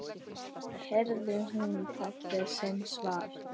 heyrði hún pabba sinn svara.